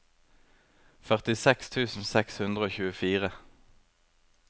førtiseks tusen seks hundre og tjuefire